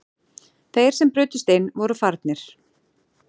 Þeir sem brutust inn voru farnir